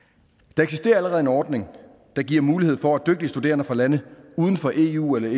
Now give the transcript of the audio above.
der eksisterer allerede en ordning der giver mulighed for at dygtige studerende fra lande uden for eu eller